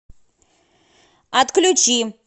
отключи